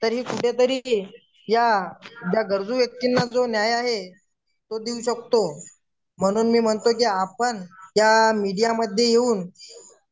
त्यांनी कुठेतरी या गरजू व्यक्तींना जे न्याय आहे तो देऊ शकतो म्हणून मी म्हणतो की आपण त्या मीडियामध्ये येऊन